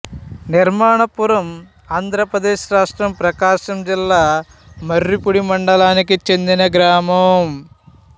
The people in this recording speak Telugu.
నిర్మాణపురం ఆంధ్రప్రదేశ్ రాష్ట్రం ప్రకాశం జిల్లా మర్రిపూడి మండలానికి చెందిన గ్రామం